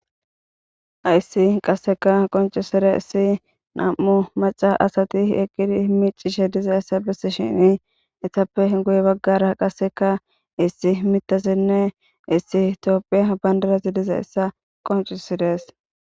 Hayiss qasekka qonccisizayiss nam''u maca asati eqqid miccishshe dizayissa besishshinn etappe guye bagara qasekka issi miththazinne issi tophphiya bandirazzi dizayissa qonccissdes.